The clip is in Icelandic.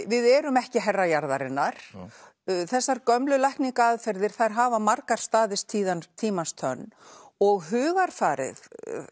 við erum ekki herra jarðarinnar þessar gömlu lækningaaðferðir þær hafa margar staðist tímans tímans tönn og hugarfarið